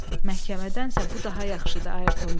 Məhkəmədənsə bu daha yaxşıdır, Ayerton dedi.